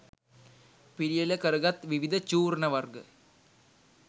පිළියෙල කරගත් විවිධ චූර්ණ වර්ග